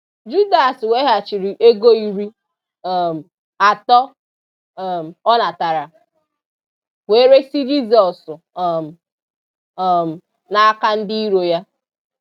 Judas weghachiri ego iri um atọ um ọ natara, wee resị Jisọs um um n’aka ndị iro ya.